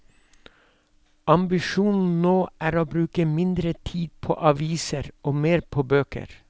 Ambisjonen nå er å bruke mindre tid på aviser og mer på bøker.